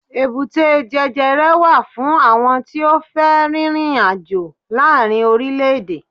èbúté jẹjẹrẹ wa fún àwọn tí o fe ririnajo laarin orilẹ ede